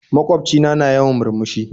Magwaobci na, na yawan murmushi